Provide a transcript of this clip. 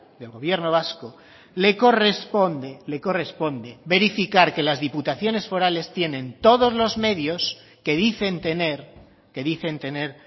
del gobierno vasco le corresponde le corresponde verificar que las diputaciones forales tienen todos los medios que dicen tener que dicen tener